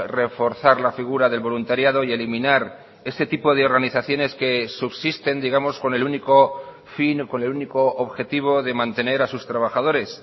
reforzar la figura del voluntariado y eliminar ese tipo de organizaciones que subsisten digamos con el único fin con el único objetivo de mantener a sus trabajadores